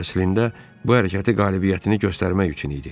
Əslində bu hərəkət qələbəni göstərmək üçün idi.